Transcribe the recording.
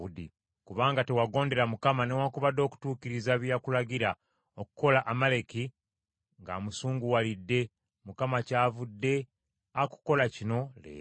Kubanga tewagondera Mukama newaakubadde okutuukiriza bye yakulagira okukola Amaleki ng’amusunguwalidde, Mukama kyavudde akukola kino leero.